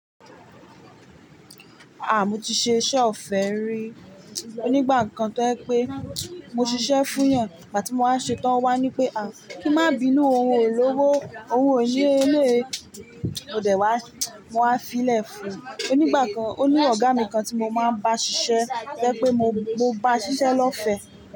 À, mo ti ṣe iṣẹ́ ọ̀fẹ́ rí. O nígbà kan tó je pẹ́, mo ṣiṣẹ́ fún èèyàn, ìgbà tí mo wá ṣe tán o wá ní pé à, kí n má binú òhun o lówó, òhun ò ní eléyi. Mo dẹ̀ wá, mo wá fiilẹ̀ fún. Onígbà kan, oní ọ̀gá mi kan tí mo máa ń bá ṣiṣẹ́ to jẹ́ pé mo, mo bá ṣiṣẹ́ lọ́fẹ̀ẹ́